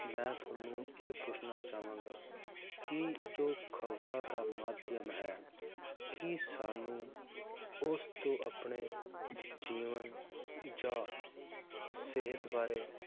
ਮੈ ਤੁਹਾਨੂੰ ਇਹ ਪੁੱਛਣਾ ਚਾਵਾਂਗਾ ਕਿ ਜੋ ਖਬਰਾਂ ਦਾ ਮਾਧਿਅਮ ਹੈ, ਕੀ ਸਾਨੂੰ ਉਸ ਤੋਂ ਆਪਣੇ ਜੀਵਨ ਜਾਂ ਸਿਹਤ ਬਾਰੇ